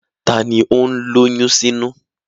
Taa ni ó ń lóyún sínú?